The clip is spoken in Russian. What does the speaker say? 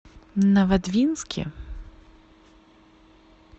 новодвинске